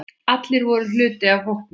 Allir voru hluti af hópnum.